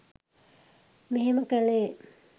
මෙහෙම කළේ.